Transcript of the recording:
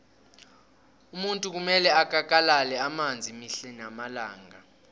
umuntu kumele akakalale amanzi mihle namalanga